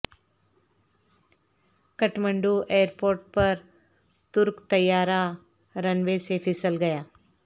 Kathmandu airport پر ترک طیارہ رن وے سے پھسل گیا